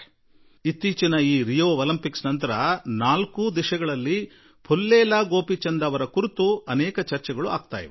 ಈ ದಿನಗಳಲ್ಲಿ Rio Olympics ನಂತರ ನಾಲ್ಕೂ ದಿಕ್ಕುಗಳಲ್ಲಿ ಪುಲ್ಲೇಲ ಗೋಪಿಚಂದ್ ಜೀ ಅವರನ್ನು ಕುರಿತೇ ಚರ್ಚೆಯಾಗುತ್ತಿದೆ